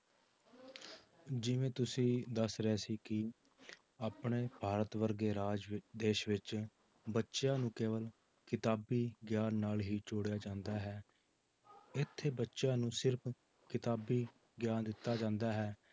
ਜਿਵੇਂ ਤੁਸੀਂ ਦੱਸ ਰਹੇ ਸੀ ਕਿ ਆਪਣੇ ਭਾਰਤ ਵਰਗੇ ਰਾਜ ਵਿੱ~ ਦੇਸ ਵਿੱਚ ਬੱਚਿਆਂ ਨੂੂੰ ਕੇਵਲ ਕਿਤਾਬੀ ਗਿਆਨ ਨਾਲ ਹੀ ਜੋੜਿਆ ਜਾਂਦਾ ਹੈ, ਇੱਥੇ ਬੱਚਿਆਂ ਨੂੰ ਸਿਰਫ਼ ਕਿਤਾਬੀ ਗਿਆਨ ਦਿੱਤਾ ਜਾਂਦਾ ਹੈ